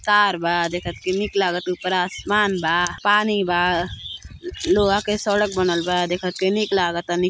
तार बा देखत के निक लागत ऊपर आसमान बा पानी बा लोहा के सड़क बनल बा देखत के निक लागता नी --